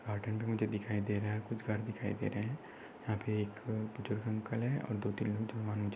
हा टेंट मुझे दिखाई दे रहा है कुच्छ घर दिखाई दे रहे है यहा पे एक बुजुर्ग अंकल है और दो तीन लोग जवान मुझे--